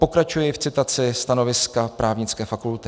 Pokračuji v citaci stanoviska Právnické fakulty.